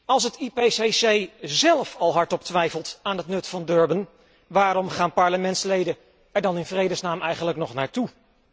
Als het IPCC zelf al hardop twijfelt aan het nut van Durban, waarom gaan parlementsleden er dan in vredesnaam eigenlijk nog naartoe?